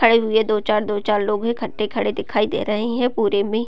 खड़े हुए दो चार दो चार लोग इकट्ठे खड़े दिखाई दे रहे हैं पुरे में।